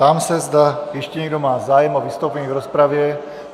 Ptám se, zda ještě někdo má zájem o vystoupení v rozpravě.